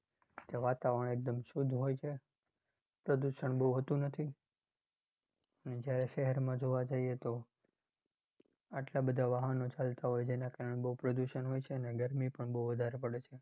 ત્યા વાતાવર્ણ એકદમ શુદ્ધ હોય છે. પ્રદુષણ બહુ હોતુ નથી. અને જયારે શેહરમાં જોવા જઈએ તો એટલા બધા વાહનો ચાલતા હોય છે. એના કારણે બહુ પ્રદુષણ હોય છે. અને ગરમી પણ બહુ વધારે પડે છે.